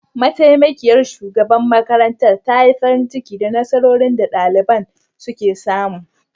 Mataimakiyar shugaban makarantar ta yi farin ciki da nasarorin da daliban suka samu